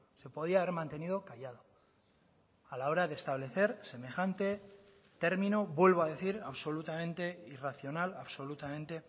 se podía haber mantenido callado a la hora de establecer semejante término vuelvo a decir absolutamente irracional absolutamente